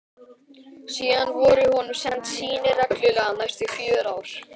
Síðan voru honum send sýni reglulega næstu fjögur ár.